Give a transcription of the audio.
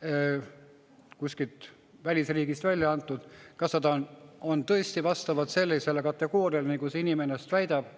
mis on kuskil välisriigis välja antud, kas see inimene tõesti vastab sellisele kategooriale, nagu ta väidab.